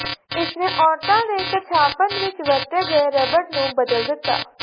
ਇਸਨੇ ਔਰਤਾਂ ਦੇ ਕੱਛਾਪਨ ਵਿਚ ਵਰਤੇ ਗਏ ਰਬੜ ਨੂੰ ਬਦਲ ਦਿੱਤਾ